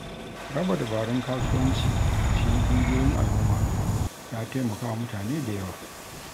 Raba dabarun kasuwanci a cikin ƙungiyoyin al’umma ya taimaka wa mutane da yawa.